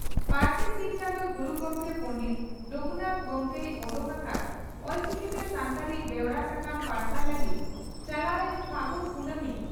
ᱯᱟᱹᱨᱥᱤ ᱥᱤᱧ ᱪᱟᱸᱫᱚ ᱜᱩᱨᱩ ᱜᱚᱢᱠᱮ ᱯᱚᱸᱰᱮᱛ ᱨᱟᱹᱜᱷᱩᱱᱟᱛ ᱜᱚᱢᱠᱮᱭ ᱚᱰᱚᱠ ᱟᱠᱟᱫ ᱚᱞᱪᱤᱠᱤᱛᱮ ᱥᱟᱱᱛᱟᱲᱤ ᱵᱮᱣᱨᱟ ᱥᱟᱠᱟᱢ ᱯᱟᱨᱥᱟᱞ ᱞᱟᱹᱜᱤᱫ ᱪᱟᱞᱟᱣ ᱮᱱ ᱯᱷᱟᱹᱜᱩᱱ ᱠᱩᱱᱟᱹᱢᱤ